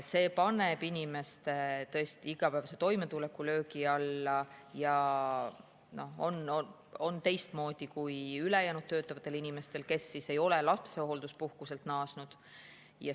See paneb inimeste igapäevase toimetuleku löögi alla ja see on teistmoodi kui ülejäänud töötavatel inimestel, kes ei ole lapsehoolduspuhkuselt naasnud.